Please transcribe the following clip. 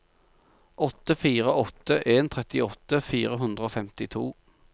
åtte fire åtte en trettiåtte fire hundre og femtito